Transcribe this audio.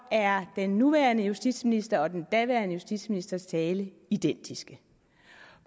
er den nuværende justitsministers og den daværende justitsministers tale identiske